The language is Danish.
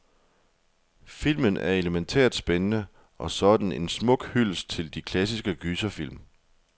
Filmen er elemæntært spændende, og så er den en smuk hyldest til de klassiske gyserfilm.